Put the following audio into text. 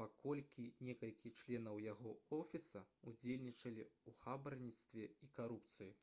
паколькі некалькі членаў яго офіса ўдзельнічалі ў хабарніцтве і карупцыі